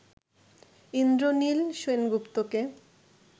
Indranil সেনগুপ্তকে